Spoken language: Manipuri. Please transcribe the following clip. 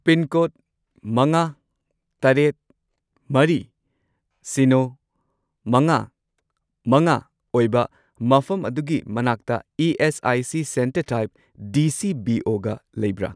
ꯄꯤꯟꯀꯣꯗ ꯃꯉꯥ, ꯇꯔꯦꯠ, ꯃꯔꯤ, ꯁꯤꯅꯣ, ꯃꯉꯥ, ꯃꯉꯥ ꯑꯣꯏꯕ ꯃꯐꯝ ꯑꯗꯨꯒꯤ ꯃꯅꯥꯛꯇ ESIC. Centre type D C B O ꯒ ꯂꯩꯕ꯭ꯔꯥ?